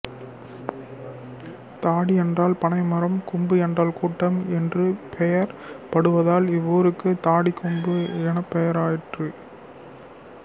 தாடி என்றால் பனைமரம் கும்பு என்றால் கூட்டம் என்று பெயர் படுவதால் இவ்வூருக்கு தாடிக்கொம்பு எனப்பெயராயிற்று